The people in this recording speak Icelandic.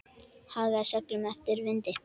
Hagaði seglum eftir vindi.